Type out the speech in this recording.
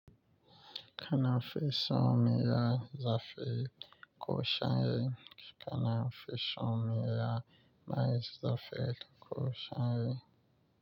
Kana fison miya zafi ko sanyi? Kana fison miya mai zafi ko sanyi?